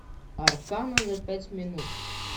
аркана за пять минут